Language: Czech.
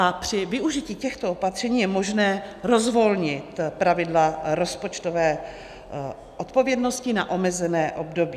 A při využití těchto opatření je možné rozvolnit pravidla rozpočtové odpovědnosti na omezené období.